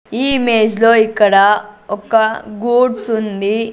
ఈ ఇమేజ్ లో ఇక్కడ ఒక్క గూడ్సుంది .